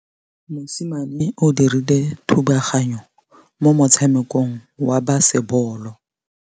Mosimane o dirile thubaganyô mo motshamekong wa basebôlô.